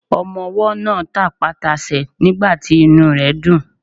Ọmọwọ́ náà tapá tasẹ̀ nígbàtí inú ẹ̀ dùn.